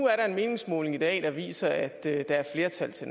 er en meningsmåling i dag der viser at der er flertal til